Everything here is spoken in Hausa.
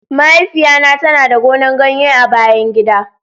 mahaifiya na ta na da gonan ganye a bayan gida.